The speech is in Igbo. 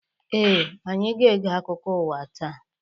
Ee, anyị ga-ege akụkọ ụwa taa.